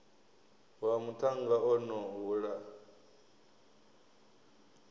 wa muṱhannga o no hula